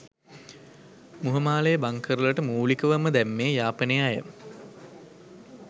මුහමාලේ bunker වලට මූලිකවම දැම්මෙ යාපනයෙ අය